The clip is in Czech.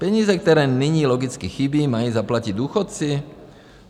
Peníze, které nyní logicky chybí, mají zaplatit důchodci?